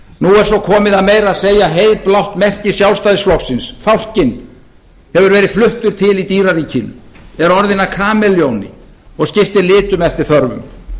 nú er svo komið að meira að segja heiðblátt merki sjálfstæðisflokksins fálkinn hefur verið fluttur til í dýraríkinu er orðinn að kamelljóni og skiptir litum eftir þörfum